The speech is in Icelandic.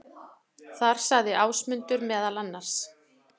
Þar sagði Ásmundur meðal annars: